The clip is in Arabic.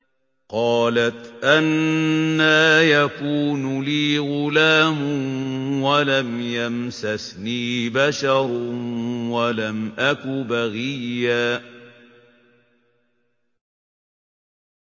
قَالَتْ أَنَّىٰ يَكُونُ لِي غُلَامٌ وَلَمْ يَمْسَسْنِي بَشَرٌ وَلَمْ أَكُ بَغِيًّا